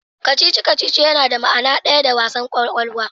Kacici-kacici yana da ma'nar daya da wassan kwakwalwa.